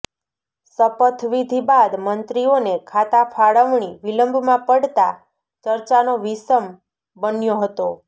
શપથવિધિ બાદ મંત્રીઓને ખાતા ફાળવણી વિલંબમાં પડતા ચર્ચાનો વિષમ બન્યો હતો